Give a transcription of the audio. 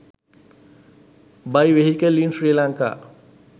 buy vehicle in sri lanka